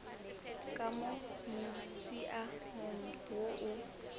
ka mo musiamong wo o